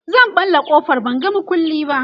zan ɓalla ƙofar ban ga maƙulli ba